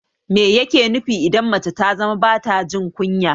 Mai yake nufi idan mace ta zama bata jin kunya?